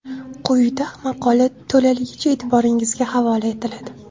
Quyida maqola to‘laligicha e’tiboringizga havola etiladi .